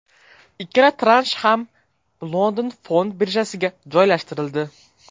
Ikkala transh ham London fond birjasiga joylashtirildi.